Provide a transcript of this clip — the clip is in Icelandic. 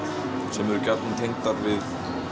sem eru gjarnan tengdar við